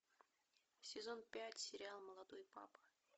сезон пять сериал молодой папа